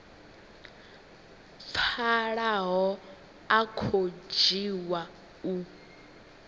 pfalaho a khou dzhiwa u